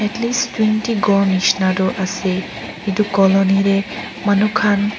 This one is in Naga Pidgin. atleast twenty ghor nishina toh ase itu colony tey manu khan.